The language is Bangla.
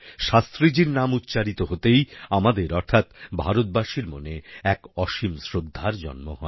শাস্ত্রীজীর নাম উচ্চারিত হতেই আমাদের অর্থাৎ ভারতবাসীর মনে এক অসীম শ্রদ্ধার জন্ম হয়